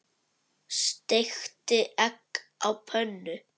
Steikti egg á pönnu.